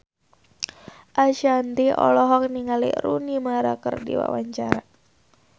Ashanti olohok ningali Rooney Mara keur diwawancara